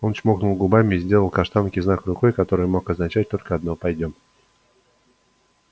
он чмокнул губами и сделал каштанке знак рукой который мог означать только одно пойдём